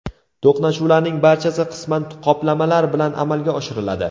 To‘qnashuvlarning barchasi qisman qoplamalar bilan amalga oshiriladi.